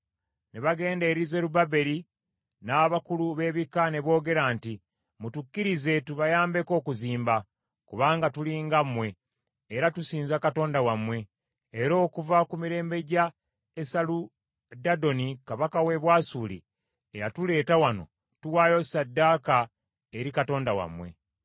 ne bagenda eri Zerubbaberi n’abakulu b’ebika ne boogera nti, “Mutukkirize tubayambeko okuzimba, kubanga tuli nga mmwe, era tusinza Katonda wammwe, era okuva ku mirembe gya Esaludaddoni kabaka w’e Bwasuli, eyatuleeta wano tuwaayo ssaddaaka eri Katonda wammwe.”